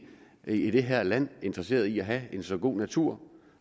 i det her land interesseret i at have en så god natur